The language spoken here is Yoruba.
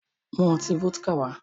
Mu ọtí Fọ́díkà wá!